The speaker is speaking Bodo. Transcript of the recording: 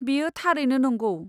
बेयो थारैनो नंगौ।